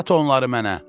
Sat onları mənə.